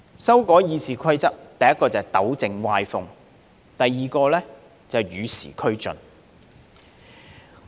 修改《議事規則》，第一是要糾正歪風，第二是要與時俱進。